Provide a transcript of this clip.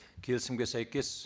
келісімге сәйкес